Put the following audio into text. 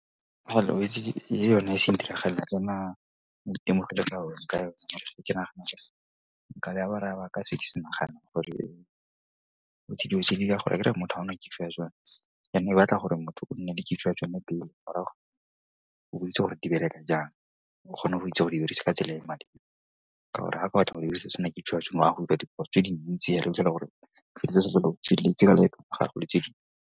yone e se ntiragalela tsona ke nagana gore ka seke se nagana gore gore motho a nne and-e e batla gore motho o nne le kitso ya tsone pele morago bo o itse gore di bereka jang o kgone go itse go e dirisa ka tsela e e maleba ka gore or-e tse dintsi hela o 'itlhela gore o tsela le .